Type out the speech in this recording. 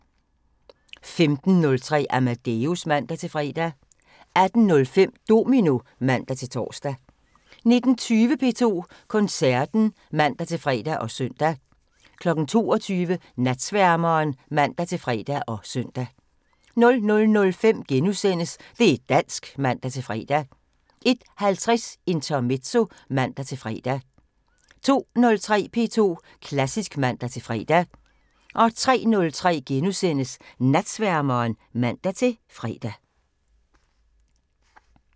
15:03: Amadeus (man-fre) 18:05: Domino (man-tor) 19:20: P2 Koncerten (man-fre og søn) 22:00: Natsværmeren (man-fre og søn) 00:05: Det' dansk *(man-fre) 01:50: Intermezzo (man-fre) 02:03: P2 Klassisk (man-fre) 03:03: Natsværmeren *(man-fre)